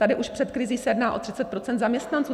Tady už před krizí se jedná o 30 % zaměstnanců.